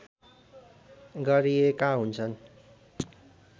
गरिएका हुन्छन्